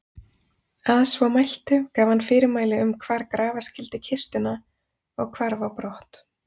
Að svo mæltu gaf hann fyrirmæli um hvar grafa skyldi kistuna og hvarf á brott.